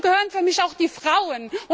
Dazu gehören für mich auch die Frauen.